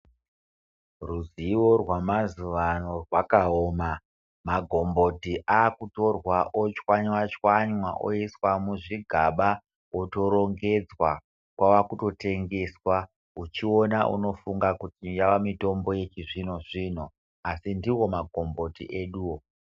Ruzivo rwemazuva ano rwakaoma magomboti akutorwa otswanyatswanya kwakuise muzvigaba otorongedzwa kwakutotengesa uchiona unofunga kuti yamutombo yechizvino zvino izvo ndiwo magomboti eduwo